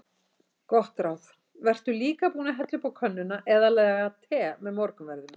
Gott ráð: Vertu líka búinn að hella upp á könnuna eða laga te með morgunverðinum.